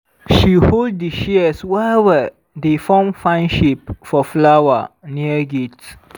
she hold di shears well-well dey form fine shape for flower near gate.